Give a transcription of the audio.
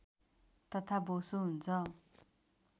तथा बोसो हुन्छ